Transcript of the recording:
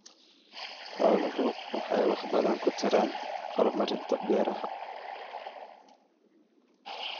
Xooluhu waxay wax badan ka taraan horumarinta beeraha.